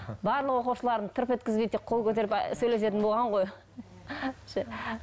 барлық оқушыларын тырп еткізбей тек қол көтеріп сөйлесетін болған ғой